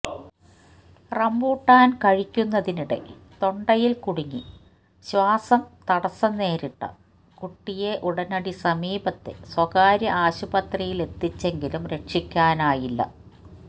rambutan കഴിക്കുന്നതിനിടെ തൊണ്ടയില് കുടുങ്ങി ശ്വാസം തടസം നേരിട്ട കുട്ടിയെ ഉടനടി സമീപത്തെ സ്വകാര്യ ആശുപത്രിയിലെത്തിച്ചെങ്കിലും രക്ഷിക്കാനായില്ല